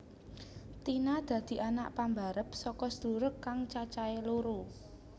Tina dadi anak pambarep saka sedulur kang cacahe loro